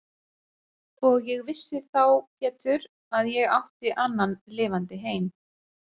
Og ég vissi þá Pétur að ég átti annan lifandi heim.